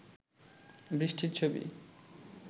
বৃষ্টির ছবি